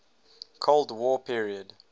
cold war period